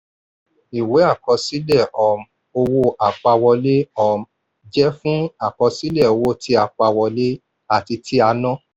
ìwé àkọsílẹ̀ um owó àpawọlé um jẹ́ fún àkọsílẹ̀ owó tí a pa wọlé àti tí a ná.